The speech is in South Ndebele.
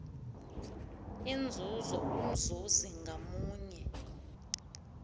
inzuzo umzuzi ngamunye